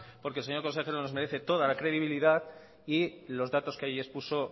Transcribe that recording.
porque el señor consejero nos merece toda la credibilidad y los datos que ahí expuso